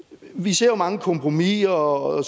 vi ser jo mange kompromiser og